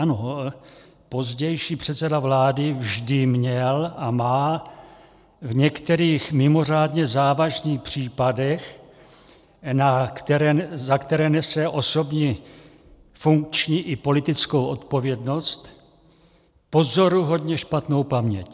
Ano, pozdější předseda vlády vždy měl a má v některých mimořádně závažných případech, za které nese osobní, funkční i politickou odpovědnost, pozoruhodně špatnou paměť.